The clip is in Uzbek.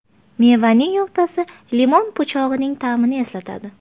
Mevaning o‘rtasi limon po‘chog‘ining ta’mini eslatadi.